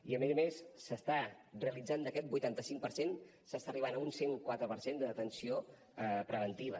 i a més a més s’està realitzant d’aquest vuitanta cinc per cent s’està arribant a un cent i quatre per cent de detenció preventiva